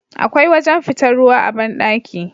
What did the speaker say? Akwai wajan fitar ruwa a banɗaki